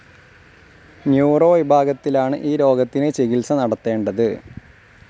Neuro വിഭാഗത്തിലാണ് ഈ രോഗത്തിന് ചികിത്സ നടത്തണ്ടത്.